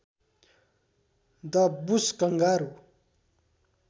the bush kangaroo